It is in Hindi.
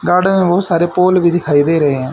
गार्डन में बहुत सारे पोल भी दिखाई दे रहे हैं।